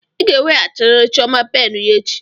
Ị ga-eweghachiri chioma penụ ya echi.